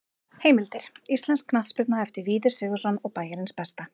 Heimildir: Íslensk knattspyrna eftir Víði Sigurðsson og Bæjarins besta.